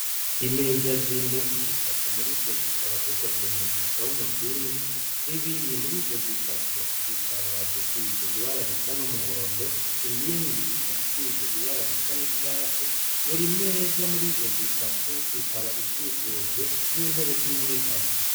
Imeza zine zitatu muri zo zikaba zikozwe mw'ishusho y'umuzingi z'ibiri muri zo zitatu zikaba zisize ibara risa n'umuhondo iyindi ikabisize ibara risa n'icatsi buri meza muri zo zitatu ikaba ikikujwe n'intebe z'inyegamo.